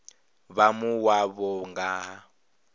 vha mua wavho nga ha